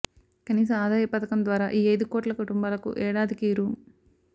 కనీస ఆదాయ పథకం ద్వారా ఈ ఐదు కోట్ల కుటుంబాలకు ఏడాదికి రూ